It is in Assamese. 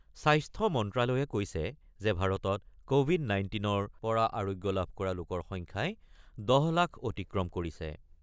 স্বাস্থ্য মন্ত্ৰ্যালয়ে কৈছে যে ভাৰতত ক'ভিড ১৯ৰ পৰা আৰোগ্য লাভ কৰা লোকৰ সংখ্যাই ১০ লাখ অতিক্ৰম কৰিছে।